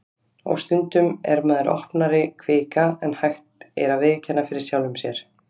Og stundum er maður opnari kvika en hægt er að viðurkenna fyrir sjálfum sér.